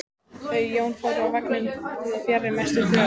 Þau Jón fóru úr vagninum fjarri mestu þvögunni.